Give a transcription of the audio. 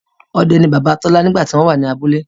Ọdẹ ní Bàbá Tola nígbà tí wọ́n wà ní abúlé